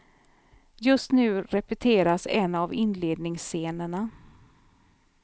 Just nu repeteras en av inledningsscenerna.